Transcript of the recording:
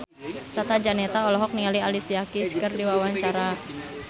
Tata Janeta olohok ningali Alicia Keys keur diwawancara